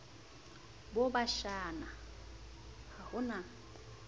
bo bashana ha ho na